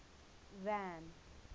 van